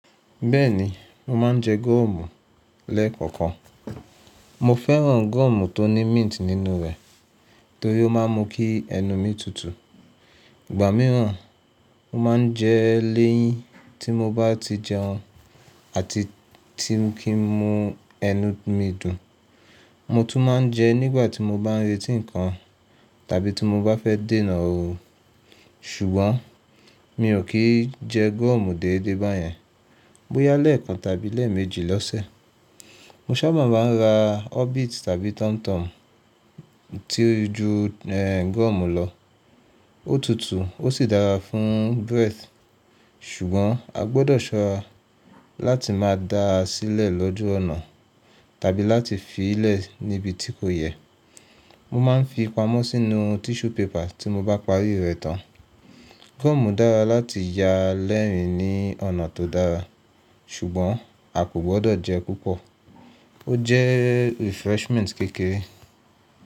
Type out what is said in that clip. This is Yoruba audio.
Bẹ́ẹ̀ni, mo máa ń jẹ gọ́ọ̀mù lẹ́ẹ̀kọ̀okan. Mo fẹ́ràn gọ́ọ̀mù tó ní mint nínú rẹ̀ torí ó máà ń mú kí ẹnu mi tutù. Ìgbà mìíràn mo máa ń jẹ é léyìn tí mo bá ti jẹun àti tí ń kí ń mu ẹnu mi dùn. Mo tún máa ń jẹ nígbà tí mo bá ń retí nǹkan tàbí tí mo bá fẹ́ dènà óorun. Sùgbọ́n mi ò kí ń jẹ gọ́ọ̀mù dédé báyẹn, bóyá lẹ́ẹ̀kan tàbí lẹ́ẹ̀mejì lọ́sẹ̀. Mo ṣábà máa ń ra orbit tàbí tomtom tí o ju gọ́ọ̀mù lọ. Ó tutù, ó sì dára fún breath, ṣùgbọ́n a gbọdọ̀ ṣọ́rá láti máa dá a sílẹ̀ lọ́jú ọ̀nà tàbí láti fi í lẹ̀ níbi tí kò yẹ. Mo máa ń fi pamọ́ sínú tissue paper tí mo bá parí rẹ̀ tán. Gọ́ọ̀mù dára láti yá lẹ́rìn-ín ní ọ̀nà tó dára, ṣùgbọ́n a kò gbọdọ̀ jẹ púpọ̀. Ó jẹ́ refreshment kékeré.